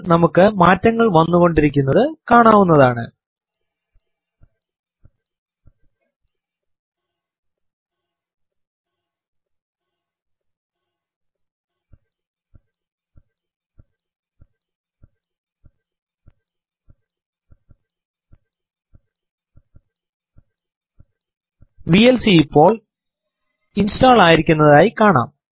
ഇപ്പോൾ നമുക്ക് മാറ്റങ്ങൾ വന്നുകൊണ്ടിരിക്കുന്നത് കാണാവുനതാണ് വിഎൽസി ഇപ്പോൾ ഇൻസ്റ്റോൾ ആയിരിക്കുന്നതായി കാണാം